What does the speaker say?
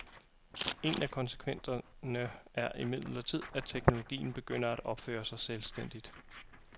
En af konsekvenserne er imidlertid, at teknologien begynder at opføre sig selvstændigt.